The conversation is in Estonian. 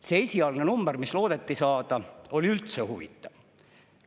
See esialgne number, mis loodeti saada, oli üldse huvitav.